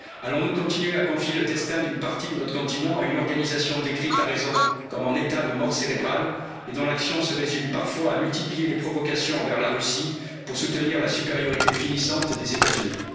Allons nous continuer à confier le destin d'une partie de notre continent à une organisation décrite à raison comme en état de mort cérébrale et dont l'action se résume parfois à multiplier les provocations envers la Russie pour soutenir la supériorité finissante des États Unis?